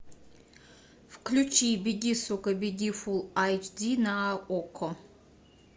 включи беги сука беги фулл эйч ди на окко